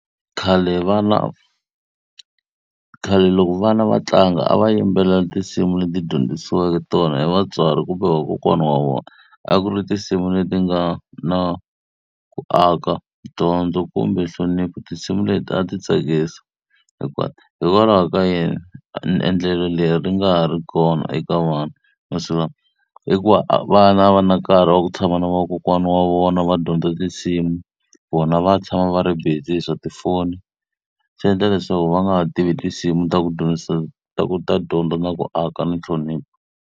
Khale vana . Khale loko vana va tlanga, a va yimbelela tinsimu leti va dyondzisiweke tona hi vatswari kumbe vakokwana wa vona. A ku ri tinsimu leti nga na ku aka, dyondzo kumbe nhlonipho. Tinsimu leti a ti tsakisa hinkwato. Hikokwalaho ka yini endlelo leri hi nga ha ri voni eka vana va masiku lawa? Hikuva vana a va na nkarhi wa ku tshama na vakokwana wa vona va dyondza tinsimu, vona va tshama va ri busy hi swa tifoni. Swi endla leswaku va nga ha tivi tinsimu ta ku dyondzisa ta ku ta dyondza, na ku aka, na nhlonipho.